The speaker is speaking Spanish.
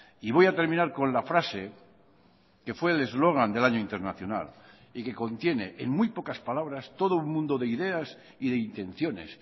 y voy a terminar con la frase que fue el eslogan del año internacional y que contiene en muy pocas palabras todo un mundo de ideas y de intenciones